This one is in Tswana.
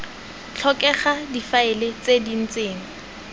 tlhokega difaele tse di ntseng